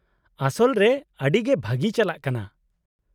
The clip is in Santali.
-ᱟᱥᱚᱞ ᱨᱮ ᱟᱰᱤ ᱜᱮ ᱵᱷᱟᱜᱤ ᱪᱟᱞᱟᱜ ᱠᱟᱱᱟ ᱾